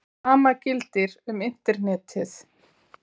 Sama gildir um Internetið.